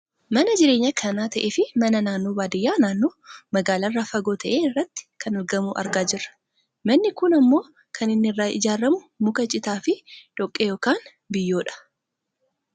Mana jireenyaa kan ta'eefi mana naannoo baadiyyaa naannoo magaalaa irraa fagoo ta'e irratti kan argamu argaa jirra . Manni kun ammoo kan inni irraa ijaaramu muka, citaa fi dhoqqee yookaan biyyoodha.